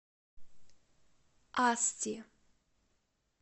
асти